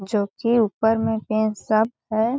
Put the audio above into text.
जो कि ऊपर में पेन सब है।